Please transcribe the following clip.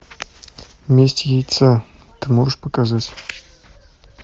месть яйца ты можешь показать